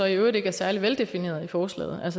øvrigt ikke er særlig veldefineret i forslaget